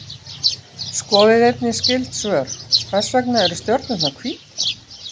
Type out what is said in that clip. Skoðið einnig skyld svör: Hvers vegna eru stjörnurnar hvítar?